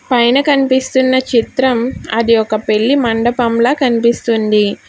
పైన కనిపిస్తున్న చిత్రం అది ఒక పెళ్లి మండపంలా కనిపిస్తుంది.